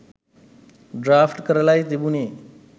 Draft කරලයි තිබුණේ.